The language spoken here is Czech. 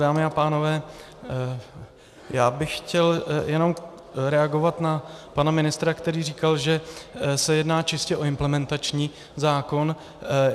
Dámy a pánové, já bych chtěl jenom reagovat na pana ministra, který říkal, že se jedná čistě o implementační zákon.